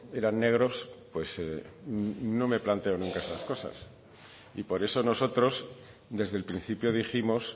eran negros pues no me planteo nunca esas cosas y por eso nosotros desde el principio dijimos